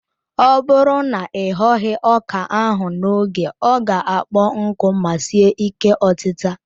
Ọ bụrụ na ị ghoghi ọka ahụ n'oge ọ ga-akpọ nku ma sie ike otita.